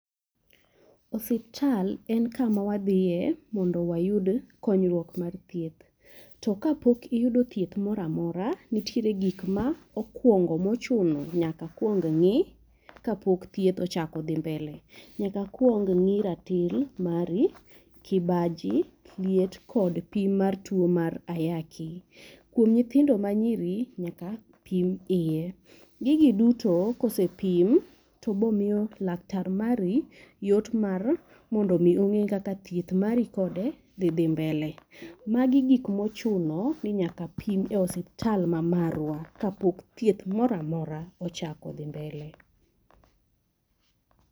Osiptal en kama wadhiye mondo wayud konyruok mar thieth. To ka pok iyudo thieth moro amora , nitiere gik ma okuongo mochuno nyaka kuong ng'i kapok thieth ochako dhi mbele. Nyaka kuong ng'i ratil mari, kibaji, liet kod pim mar tuo mar ayaki. Kuom nyithindo ma nyiri nyaka pim iye, gigi duto ka osepim to biro miyo laktar mari yot emar mondo mi ong'ed kaka thieth mari kode dhi dhi mbele. Magi gik ma ochuno ni nyaka pim e osiptal ma marwa kapok thieth moro amora ochako dhi mbele.